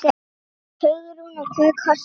Hugrún: Og hvað kostaði hún?